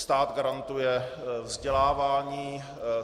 Stát garantuje vzdělávání.